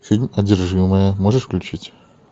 фильм одержимая можешь включить